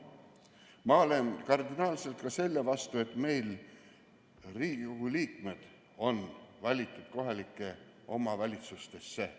Ma olen kardinaalselt ka selle vastu, et Riigikogu liikmed on valitud kohalikesse omavalitsustesse.